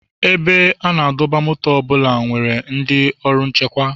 Ebe a na-adọba ụgbọala ọ bụla nwere ndị ọrụ nchekwa.